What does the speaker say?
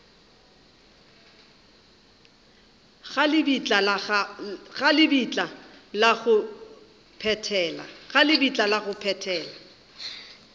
ga lebitla la go phethela